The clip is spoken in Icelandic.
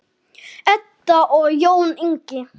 Edda og Jón Ingi.